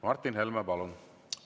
Martin Helme, palun!